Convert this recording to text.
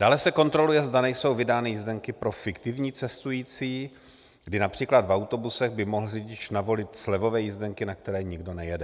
Dále se kontroluje, zda nejsou vydány jízdenky pro fiktivní cestující, kdy například v autobusech by mohl řidič navolit slevové jízdenky, na které nikdo nejede.